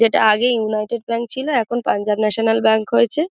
যেটা আগে United Bank ছিল এখন পাঞ্জাব ন্যাশনাল ব্যাঙ্ক হয়েছে।